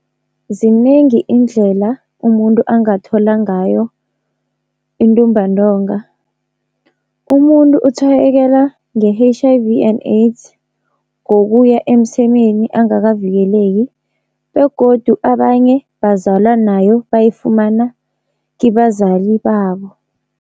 Zinengi iindlela umuntu angathola ngayo intumbantonga. Umuntu utshwayekela nge-H_I_V and AIDS ngokuya emsemeni angakavikeleki, begodu abanye bazalwa nayo bayifumana kibazali babo.